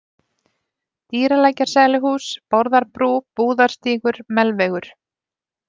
Dýralækjarsæluhús, Bárðarbrú, Búðarstígur, Melvegur